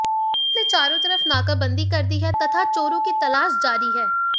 police ने चारों तरफ नाकाबंदी कर दी है तथा चोरों की तलाश जारी है